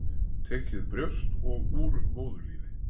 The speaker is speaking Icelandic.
Tekið brjóst og úr móðurlífi.